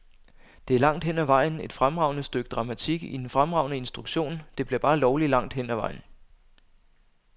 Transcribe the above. Det er langt hen ad vejen et fremragende stykke dramatik i en fremragende instruktion, det bliver bare lovlig langt hen ad vejen.